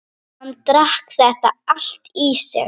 Hann drakk þetta allt í sig